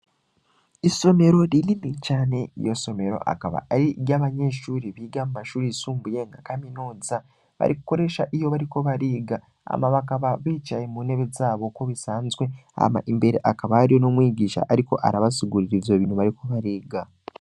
Isomero rilini cane iyo somero akaba ari iryo abanyeshuri biga amashuri yisumbuye nka kaminoza barikoresha iyo bariko bariga ama bakaba bicaye mu ntebe zabo ko bisanzwe ama imbere akabariyo no mwigisha, ariko arabasugurira izwa bintu bariko bariga.